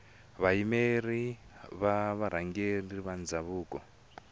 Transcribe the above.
vayimeri va varhangeri va ndhavuko